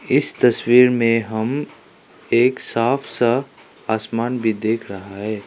इस तस्वीर में हम एक साफ सा आसमान भी देख रहा है।